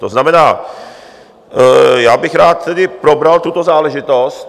To znamená, já bych rád tedy probral tuto záležitost.